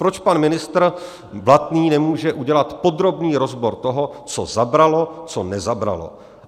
Proč pan ministr Blatný nemůže udělat podrobný rozbor toho, co zabralo, co nezabralo?